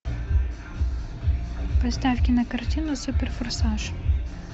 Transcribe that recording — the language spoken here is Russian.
поставь кинокартину супер форсаж